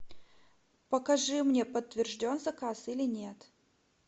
покажи мне подтвержден заказ или нет